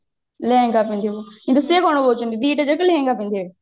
ଲେହେଙ୍ଗା ପିନ୍ଧିବେ କିନ୍ତୁ ସେ କଣ କହୁଛନ୍ତି ଦିଟା ଯାକ ଲେହେଙ୍ଗା ପିନ୍ଧିବେ